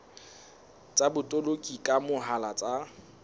tsa botoloki ka mohala tsa